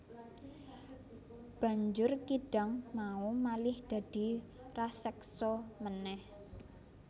Banjur kidang mau malih dadi raseksa meneh